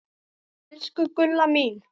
Elsku Gulla mín.